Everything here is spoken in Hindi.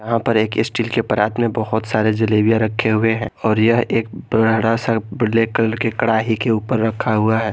यहां पर एक स्टील के परात में बहोत सारे जलेबियां रखे हुए हैं और यह एक बड़ा सा ब्लैक कलर के कड़ाही के ऊपर रखा हुआ है।